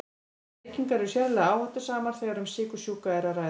En reykingar eru sérlega áhættusamar þegar um sykursjúka er að ræða.